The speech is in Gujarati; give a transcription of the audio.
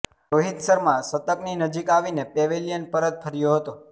રોહિત શર્મા શતકની નજીક આવી ને પેવેલિયન પરત ફર્યો હતો